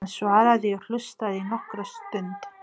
Hann svaraði og hlustaði nokkra stund.